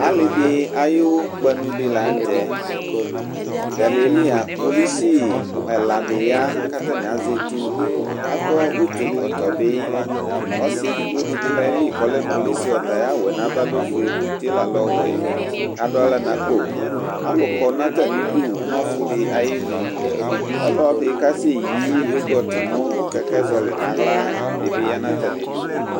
Alidi ayu kpanu di la nu tɛ taliɛli kpolusi ɛla di ya ku azɛ etu akɔ utu ɛkɔtɔ bi ɔsi edigbo di bi lɛ kpolusi ɔta ayu awu nava lɛ ofue ku utie la lɛ ɔwɛ ladu aɣla nuakpo alukɔ nu atami du nu ɔfu ayinu ɔlɔdi kase yi yugɔt ku kɛkɛ zɔli dibi yanu nu atamidu